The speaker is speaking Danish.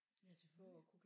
Ja selvfølgelig